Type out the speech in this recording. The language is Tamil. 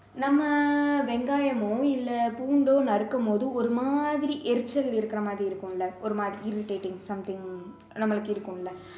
நம்ம வெங்காயமோ இல்ல பூண்டோ நறுக்கும் போது ஒரு மாதிரி எரிச்சல் இருக்கிற மாதிரி இருக்கும்ல ஒரு மாதிரி irritating something நம்மளுக்கு இருக்கும்ல